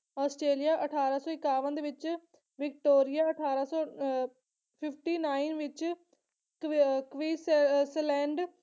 Australia ਅਠਾਰਾਂ ਸੋ ਇਕਾਵਨ ਦੇ ਵਿੱਚ ਵਿਕਟੋਰੀਆ ਅਠਾਰਾਂ ਸੌ ਅਹ fifty nine ਵਿੱਚ ਕਵੀਕਵਿਸ ਅਹ ਸਲੈਂਡ